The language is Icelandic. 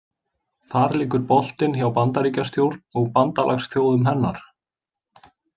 Þar liggur boltinn hjá Bandaríkjastjórn og bandalagsþjóðum hennar.